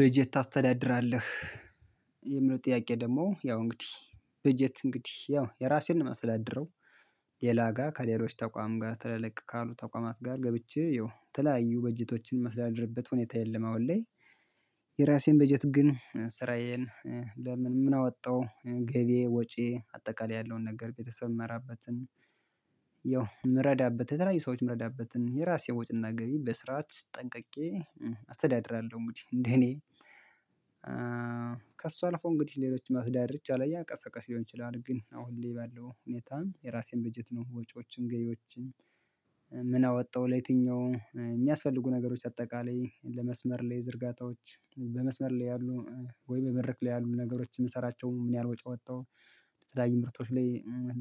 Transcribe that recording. በጀት ታስተዳድራለህ? የምለው ጥያቄ ደግሞ ያው እንግዲህ በጀት እንግዲህ ያው የራሴን ነው ማስተዳድረው። ሌላ ጋር ከሌሎች ተቋም ጋር ትላልቅ ካሉ ተቋማት ጋር ገብቼ ያው ተለያዩ በጀቶችን ማስተዳድርበት ሁኔታ የለም አሁን ላይ። የራሴን በጀት ግን ስራዬን ለምን ምን አወጣው ገቢዪ ወጪዪ አጠቃላይ ያለውን ነገር ቤተሰብ የምመራበትን። ያው የምረዳበት የተለያዩ ሰዎች የምረዳበትን የራሴ ወጪና ገቢ በስርዓት ጠንቅቄ አስተዳድራለሁ። እንግዲህ እንደኔ እኔ ከእሱ አልፎ እንግዲህ ሌሎች መስዳድር ይቻላል ያቀሰቀስ ሊሆን ይችላል። ግን አሁን ባለው ሁኔታ የራሴን በጀት ነው ወጪዎችን ገቢዎችን። ምን አወጣው ለየትኛው የሚያስፈልጉ ነገሮች አጠቃላይ ለመስመር ላይ ዝርጋታዎች በመስመር ላይ ያሉ ወይ በበረክ ላይ ያሉ ነገሮች የምሰራቸው ምን ያህል ወጪ አወጣሁ። ለተለያዩ ምርቶች ላይ